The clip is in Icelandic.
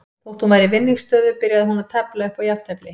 Þótt hún væri í vinningsstöðu byrjaði hún að tefla upp á jafntefli.